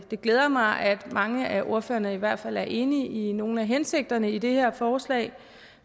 glæder mig at mange af ordførerne i hvert fald er enige i nogle af hensigterne i det her forslag